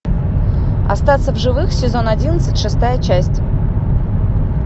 остаться в живых сезон одиннадцать шестая часть